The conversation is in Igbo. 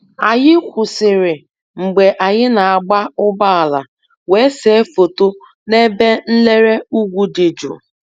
Anyị kwụsịrị mgbe anyị na-agba ụgbọala wee see foto n'ebe nlere ugwu dị jụụ